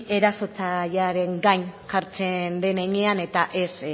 erasotzailearen gain jartzen den heinean eta ez